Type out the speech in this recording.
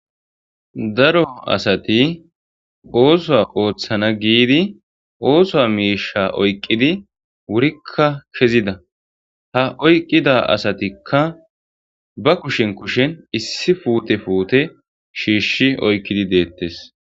Daro asati ooso ooththana giidi oosoa miisha oyqqidi wurikka kezida ha oyqqida asatikka ba kushen kushen issi puute puute shiishi oykkidi deettes.